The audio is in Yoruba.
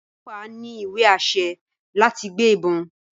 ọlọpa ní iwe-ašẹ láti gbé ìbọn